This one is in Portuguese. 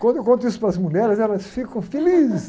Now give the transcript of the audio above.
Quando eu conto isso para as mulheres, elas ficam felizes.